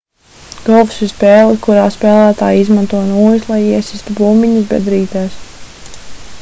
golfs ir spēle kurā spēlētāji izmanto nūjas lai iesistu bumbiņas bedrītēs